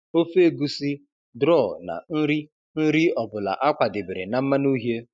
ofe egusi, draw na nri nri ọ bụla a kwadebere na mmanụ uhie.